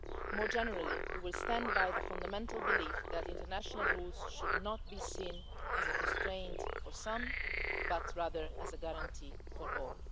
More generally, we will stand by the fundamental belief that international rules should not be seen as a constraint for some, but rather as a guarantee for all.